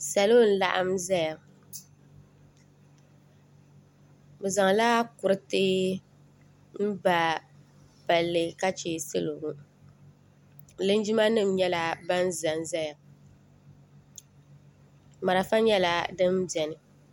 Salo n laɣim zaya bɛ zaŋla kuriti n ba palli ka che salo ŋɔ linjima nima nyɛla ban zanzaya marafa nyɛla din biɛni.